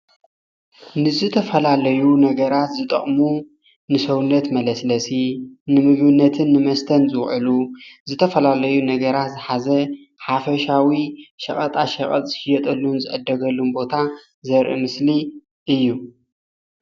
ንዝተፈላለዩ ነገራት ዝጠቅሙ ንሰውነት መለስለሲ ፣ንምግብነትን ንመስተን ዝውዕሉ ዝተፈላለዩ ነገራት ዝሓዘ ሓፈሻዊ ሸቀጣሸቀጥ ዝሸየጠሉን ዝዕደገሉን ቦታ ዘርኢ ምስሊ እዩ።።